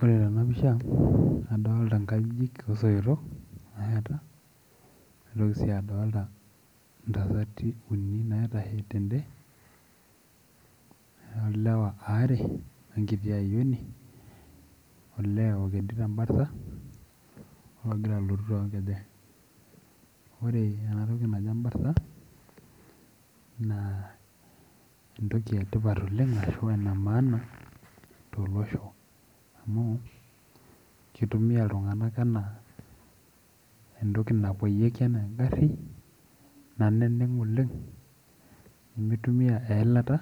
Ore tenapisha nadolta nkajijik osoitok nasheta naitoki si adolta ntasati uni naitashe tende olewa aare onkit ayieuni nagira alotu tonkejek ore enatoki naji embarsa na entoki etipat oleng amu enemaana tolosho amu kitumia ltunganak ana entoki napoyieki ena engaru naneng oleng nimitumia eilata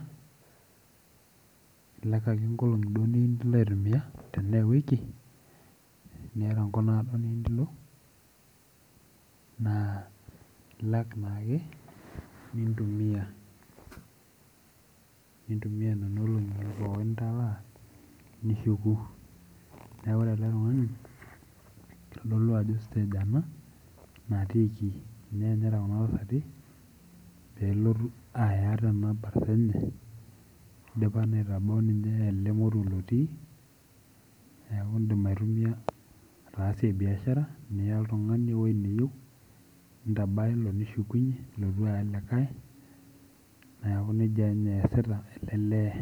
ilak ake nkolongi niyieu nilo aitumia niata enkop naado niyieu nilo nailak naake nintumia nishuku neaku ore eletungani kitadolu ajo stage ena natiiki kitodolu ajo kuna tasati pelotu aya tenkuna barsa enye idipa aitadou ele moruoneaku indim aitumia ataasa biashara nintabaya ilo nishuk neaku esiaia etipat oleng.